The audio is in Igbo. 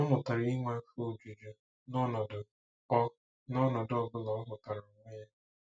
Ọ mụtara inwe afọ ojuju nọnọdụ ọ nọnọdụ ọ bụla ọ hụtara onwe ya.